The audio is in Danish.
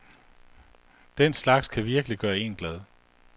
Den slags kan virkelig gøre en glad.